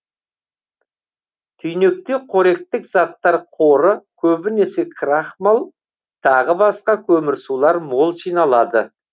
түйнекте қоректік заттар қоры көбінесе крахмал тағы басқа көмірсулар мол жиналады